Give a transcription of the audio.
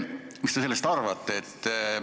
Mis te sellest arvate?